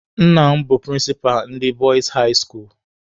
Nna m bụ prịnsịpa ndị Bọịs hai skuulu.